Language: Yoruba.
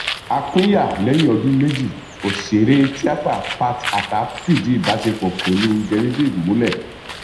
a pínyà lẹyìn ọdún méjì ọsẹrẹ tíátà pat attah fìdí ìbásepọ pẹlú genieve múlẹ